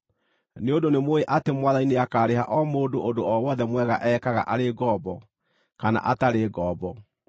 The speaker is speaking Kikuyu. nĩ ũndũ nĩ mũũĩ atĩ Mwathani nĩakarĩha o mũndũ ũndũ o wothe mwega ekaga arĩ ngombo kana atarĩ ngombo.